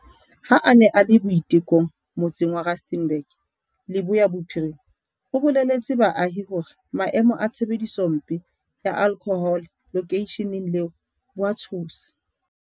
Ha a ne a le Boitekong, motse ng wa Rustenburg, Leboya Bophirima, o boleletse baahi hore maemo a tshebedisompe ya alkhohole lokeisheneng leo bo a tshosa.